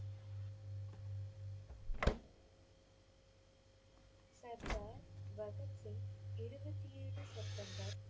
சர்தார் பகத் சிங் இருபத்தி ஏழு செப்டம்பர்